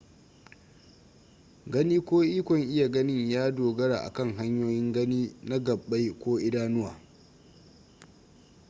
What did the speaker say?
gani ko ikon iya ganin ya dogara a kan hanyoyin gani na gabbai ko idanuwa